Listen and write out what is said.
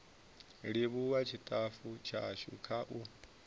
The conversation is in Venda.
livhuwa tshitafu tshashu kha u